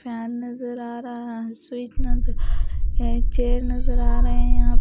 Fan नज़र आ रहा है स्वीट नजर आ रही है चेयर नजर आ रहे हैं यहाँ।